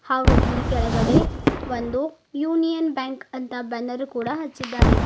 ಹಾಗೂ ಇಲ್ಲಿ ಕೆಳಗಡೆ ಒಂದು ಯೂನಿಯನ್ ಬ್ಯಾಂಕ್ ಅಂತ ಬ್ಯಾನರ್ ಕೂಡ ಹಚ್ಚಿದ್ದಾರೆ.